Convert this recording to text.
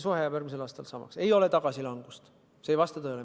Meil ei ole tagasilangust, see ei vasta tõele.